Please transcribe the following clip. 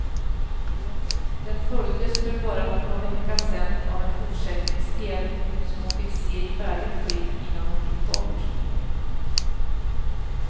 Den följdes för bara någon vecka sedan av en fortsättningsdel som hon fick se i färdigt skick innan hon gick bort.